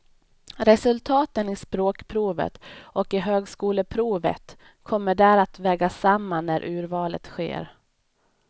Resultaten i språkprovet och i högskoleprovet kommer där att vägas samman när urvalet sker.